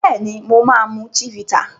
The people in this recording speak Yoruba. Béèni mọ má mú Chivita